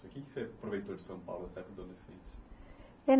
O que você aproveitou de São Paulo nessa época adolescente?